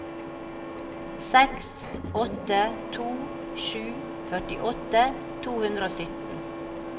seks åtte to sju førtiåtte to hundre og sytten